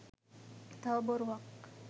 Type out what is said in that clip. තව බොරුවක්.